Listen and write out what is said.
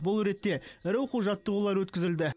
бұл ретте ірі оқу жаттығулар өткізілді